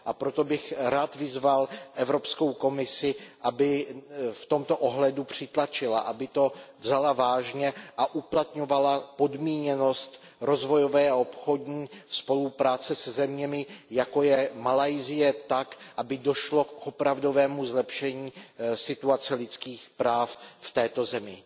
A proto bych rád vyzval Evropskou komisi, aby v tomto ohledu přitlačila, aby to vzala vážně a uplatňovala podmíněnost rozvojové a obchodní spolupráce se zeměmi, jako je Malajsie tak, aby došlo k opravdovému zlepšení situace lidských práv v této zemi.